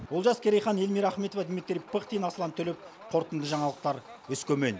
олжас керейхан эльмира ахметова дмитрий пыхтин аслан төлепов қорытынды жаңалықтар өскемен